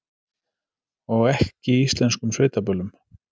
Og ekki íslenskum sveitaböllum.